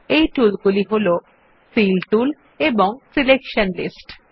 এই টুল গুলি হল ফিল টুল সিলেকশন লিস্টস